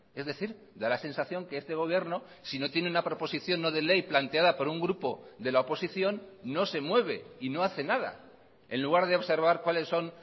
es decir da la sensación que este gobierno si no tiene una proposición no de ley planteada por un grupo de la oposición no se mueve y no hace nada en lugar de observar cuáles son